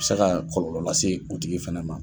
se ka kɔlɔlɔ lase u tigi fɛnɛ ma.